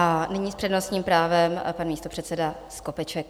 A nyní s přednostním právem pan místopředseda Skopeček.